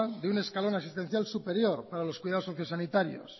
de un escalón existencial superior para los cuidados sociosanitarios